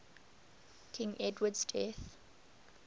king edward's death